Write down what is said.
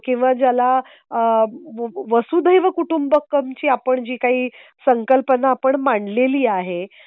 किंवा ज्याला आहे वसुधैव कुटुंबकमची आपण जी काही संकल्पना आपण मांडलेली आहे.